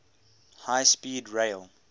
high speed rail